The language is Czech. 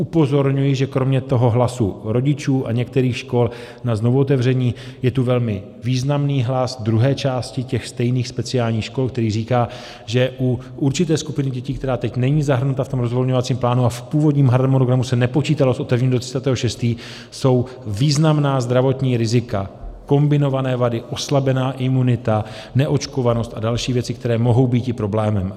Upozorňuji, že kromě toho hlasu rodičů a některých škol na znovuotevření je tu velmi významný hlas druhé části těch stejných speciálních škol, který říká, že u určité skupiny dětí, která teď není zahrnuta v tom rozvolňovacím plánu a v původním harmonogramu se nepočítalo s otevřením do 30. 6., jsou významná zdravotní rizika, kombinované vady, oslabená imunita, neočkovanost a další věci, které mohou býti problémem.